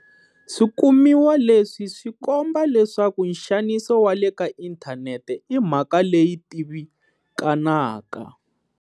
Swikumiwa leswi swi komba leswaku nxaniso wa le ka inthanete i mhaka leyi tivikanaka.